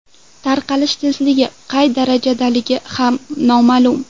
Tarqalish tezligi qay darajadaligi ham noma’lum.